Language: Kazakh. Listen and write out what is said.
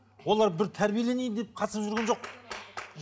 олар бір тәрбиеленейін деп қатысып жүрген жоқ